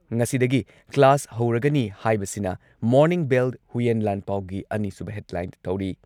ꯉꯁꯤꯗꯒꯤ ꯀ꯭ꯂꯥꯁ ꯍꯧꯔꯒꯅꯤ ꯍꯥꯏꯕꯁꯤꯅ ꯃꯣꯔꯅꯤꯡ ꯕꯦꯜ, ꯍꯨꯏꯌꯦꯟ ꯂꯥꯟꯄꯥꯎꯒꯤ ꯑꯅꯤꯁꯨꯕ ꯍꯦꯗꯂꯥꯏꯟ ꯇꯧꯔꯤ ꯫